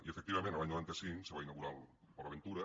i efectivament l’any noranta cinc se va inaugurar port aventura